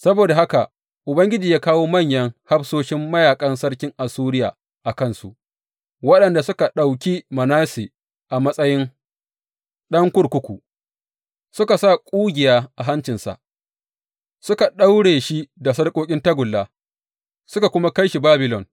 Saboda haka Ubangiji ya kawo manyan hafsoshin mayaƙan sarkin Assuriya a kansu, waɗanda suka ɗauki Manasse a matsayi ɗan kurkuku, suka sa ƙugiya a hancinsa, suka daure shi da sarƙoƙin tagulla suka kuma kai shi Babilon.